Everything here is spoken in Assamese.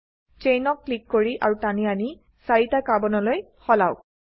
ছেইনকক্লিক কৰি আৰু টানি আনি 4 টা কাৰ্বনলৈ সলাওক